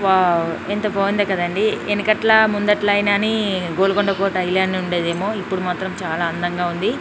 Wow ఎంత బాగుంది కదండీ ఎన్కట్ల ముందట్ల ఇన్ అని గోల్కొండ కొట్ట ఇళ్లనే ఉండేదేమో ఇప్పుడు మాత్రమ్ చాల అందంగా ఉంది .